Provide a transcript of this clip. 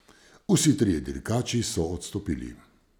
Vsi trije dirkači so odstopili.